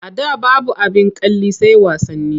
A da babu abin kalli sai wasanni.